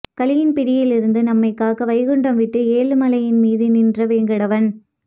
கலியின் பிடியில் இருந்து நம்மை காக்க வைகுண்டம் விட்டு ஏழுமலையின் மீது நின்ற வேங்கடவன்